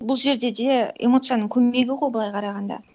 бұл жерде де эмоцияның көмегі ғой былай қарағанда